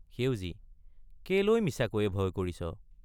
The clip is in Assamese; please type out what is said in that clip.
সেউজী—কেলৈ মিছাকৈয়ে ভয় কৰিছ?